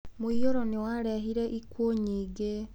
Mũiyũro nĩ warehire ikuũ nyingĩ.